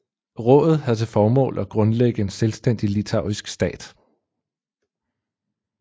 Rådet havde til formål at grundlægge en selvstændig litauisk stat